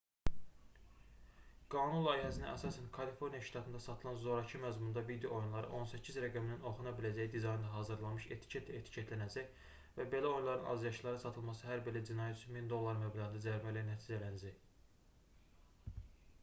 qanun layihəsinə əsasən kaliforniya ştatında satılan zorakı məzmunda video oyunları 18 rəqəminin oxuna biləcəyi dizaynda hazırlanmış etiketlə etiketlənəcək və belə oyunların azyaşlılara satılması hər belə cinayət üçün 1000$ məbləğində cərimə ilə nəticələnəcək